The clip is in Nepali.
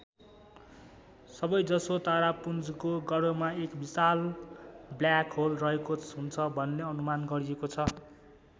सबैजसो तारापुञ्जको गर्भमा एक विशाल ब्ल्याक होल रहेको हुन्छ भन्ने अनुमान गरिएको छ।